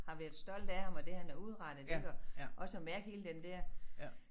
Har været stolte af ham og det han har udrettet ik og også at mærke hele den der